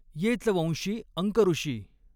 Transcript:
येच वंशी अंकऋषी।